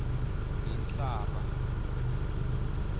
ngenhlaba